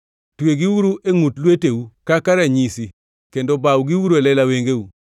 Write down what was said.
Twegiuru e ngʼut lweteu kaka ranyisi kendo bawgiuru e lela wengeu.